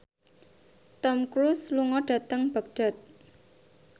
Tom Cruise lunga dhateng Baghdad